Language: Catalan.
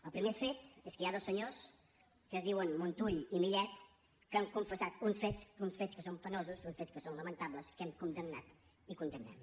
el primer fet és que hi ha dos senyors que es diuen montull i millet que han confessat uns fets uns fets que són penosos uns fets que són lamentables que hem condemnat i condemnem